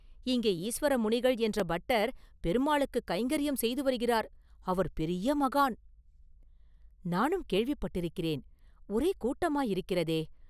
இங்கே ஈசுவர முனிகள் என்ற பட்டர், பெருமாளுக்குக் கைங்கரியம் செய்து வருகிறார் அவர் பெரிய மகான்.” “நானும் கேள்விப்பட்டிருக்கிறேன் ஓரே கூட்டமாயிருக்கிறதே!